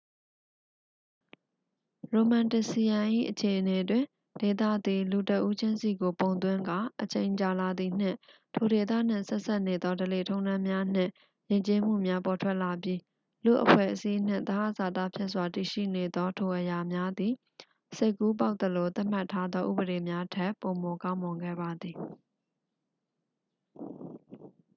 ရိုမန်းတစ်စီယမ် ၏ အခြေအနေတွင် ဒေသသည် လူတစ်ဦးချင်းစီကို ပုံသွင်းကာ အချိန်ကြာလာသည်နှင့် ထိုဒေသနှင့်ဆက်စပ်နေသော ဓလေ့ထုံးတမ်းများနှင့် ယဉ်ကျေးမှုများ ပေါ်ထွက်လာပြီး လူ့အဖွဲ့အစည်းနှင့် သဟဇာတဖြစ်စွာတည်ရှိနေသောထိုအရာများသည် စိတ်ကူးပေါက်သလိုသတ်မှတ်ထားသောဥပဒေများထက် ပိုမိုကောင်းမွန်ခဲ့ပါသည်